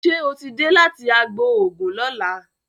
Ṣe o tí dé láti àgbò oògùn lola?